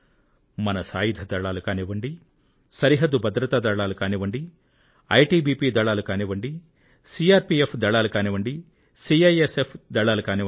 మన సాయుధ దళాలు కానివ్వండి సరిహద్దు భద్రతా దళాలు కానివ్వండి ఐటి బి పి సైనికులు కానివ్వండి సిఆర్ పిఎఫ్ దళాలు కానివ్వండి సిఐఎస్ఎఫ్ సైనికులు కానివ్వండి